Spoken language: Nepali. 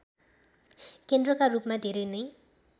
केन्द्रका रूपमा धेरै नै